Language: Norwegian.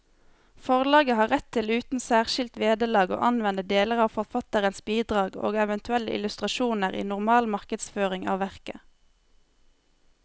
Forlaget har rett til uten særskilt vederlag å anvende deler av forfatterens bidrag og eventuelle illustrasjoner i normal markedsføring av verket.